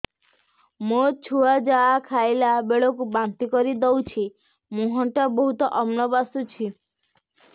ମୋ ଛୁଆ ଯାହା ଖାଇଲା ବେଳକୁ ବାନ୍ତି କରିଦଉଛି ମୁହଁ ଟା ବହୁତ ଅମ୍ଳ ବାସୁଛି